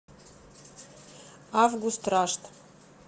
август рашт